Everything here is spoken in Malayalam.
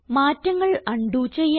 മാറ്റങ്ങൾ ഉണ്ടോ ചെയ്യാം